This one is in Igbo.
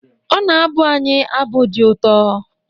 Ọ na-abụ anyị abụ dị ụtọ